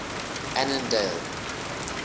annandale